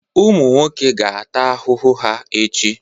Ụmụ nwoke ga-ata ahụhụ ha echi.